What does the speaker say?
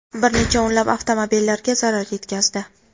bir necha o‘nlab avtomobillarga zarar yetkazdi.